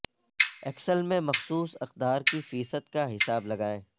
Excel میں مخصوص اقدار کی فیصد کا حساب لگائیں